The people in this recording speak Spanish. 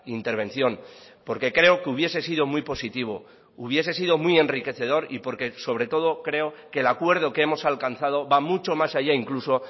intervención porque creo que hubiese sido muy positivo hubiese sido muy enriquecedor y porque sobre todo creo que el acuerdo que hemos alcanzado va mucho más allá incluso